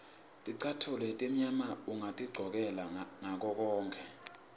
ticatfulo letimnyama ungatigcokela ngakokonkhe